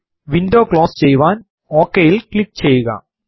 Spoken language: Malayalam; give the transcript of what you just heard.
വിൻഡോ ക്ലോസ് ചെയ്യുവാൻ OK ൽ ക്ലിക്ക് ചെയ്യുക